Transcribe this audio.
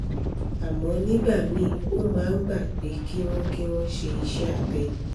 àmọ́ nígbà míì ó máa ń gba pé kí wọ́n kí wọ́n ṣe iṣẹ́ abẹ